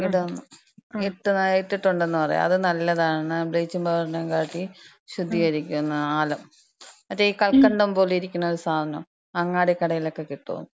ഇട്ന്ന, ഇട്ട്, ഇട്ട്ട്ടുണ്ടെന്ന് പറയും. അത് നല്ലതാണ്, ബ്ലീച്ചിങ് പൗഡറിനേക്കാട്ടിയും ശുദ്ധീകരിക്ക്ന്ന ആലം. മറ്റേ ഈ കൽക്കണ്ടം പോലെയിരിക്ക്ണൊരു സാനം. അങ്ങാടി കടേലക്കെ കിട്ടുന്ന്.